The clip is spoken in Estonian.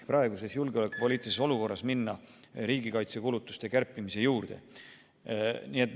Praeguses julgeolekupoliitilises olukorras ei ole mõistlik minna riigi kaitsekulutuste kärpimise juurde.